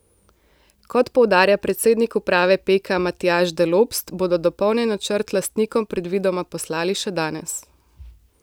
Kot poudarja predsednik uprave Peka Matjaž Delopst, bodo dopolnjen načrt lastnikom predvidoma poslali še danes.